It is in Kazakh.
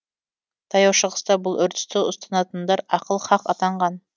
таяу шығыста бұл үрдісті ұстанатындар ахыл хақ атанған